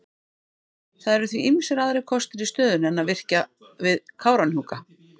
Það eru því ýmsir aðrir kostir í stöðunni en að virkja við Kárahnjúka.